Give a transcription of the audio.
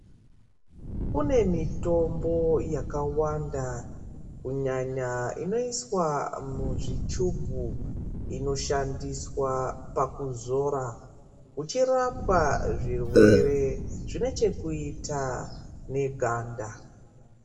Kune mitombo yakawanda kunyanya inoiswa muzvichubhu inoshandiswa pakuzora uchirapwa zvirwere zvine chekuita neganda.